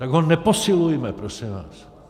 Tak ho neposilujme, prosím vás.